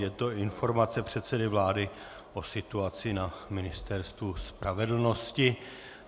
Je to informace předsedy vlády o situaci na Ministerstvu spravedlnosti.